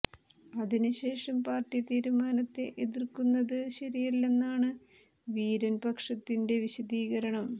അതിന് ശേഷം പാർട്ടി തീരുമാനത്തെ എതിർക്കുന്നത് ശരിയല്ലെന്നാണ് വീരൻ പക്ഷത്തിന്റെ വിശദീകരണം